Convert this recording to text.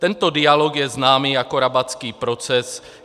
Tento dialog je známý jako Rabatský proces.